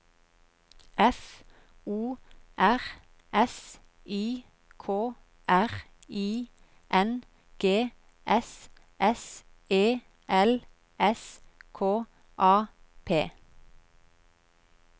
F O R S I K R I N G S S E L S K A P